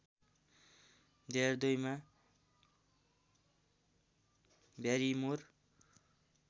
२००२ मा ब्यारिमोर